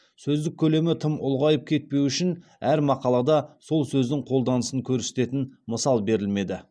сөздік көлемі тым ұлғайып кетпеуі үшін әр мақалада сол сөздің қолданысын көрсететін мысал берілмеді